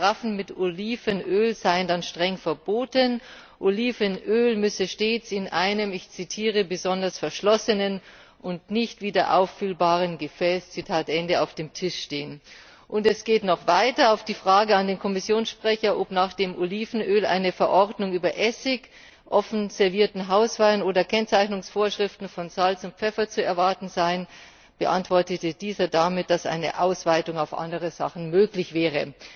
Offene Karaffen mit Olivenöl seien dann streng verboten, Olivenöl müsse stets in einem besonders verschlossenen und nicht wieder auffüllbaren Gefäß auf dem Tisch stehen. Und es geht noch weiter Die Frage an den Kommissionssprecher, ob nach dem Olivenöl eine Verordnung über Essig, offen servierten Hauswein oder Kennzeichnungsvorschriften von Salz und Pfeffer zu erwarten seien, beantwortet dieser damit, dass eine Ausweitung auf andere Sachen möglich wäre.